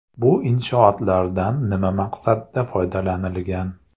Bu inshootlardan nima maqsadda foydalanilgan?